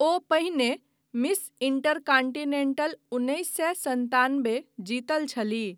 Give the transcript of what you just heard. ओ पहिने miss intercontinental उन्नैस सए सन्तानबे जीतने छलीह।